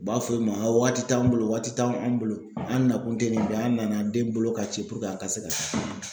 U b'a fɔ i ma wagati t'anw bolo waati t'anw anw bolo. An nakun te nin bɛɛ an nana den bolo ka ci a ka se ka